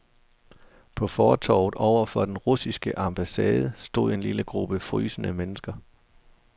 På fortovet over for den russiske ambassade stod en lille gruppe frysende mennesker.